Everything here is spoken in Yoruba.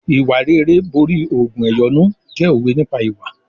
"Ìwà rere borí ògùn ẹ̀yọ́nú" jẹ́ òwe nípa ìwà.